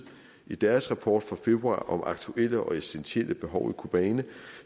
i deres rapport fra februar om aktuelle og essentielle behov i kobane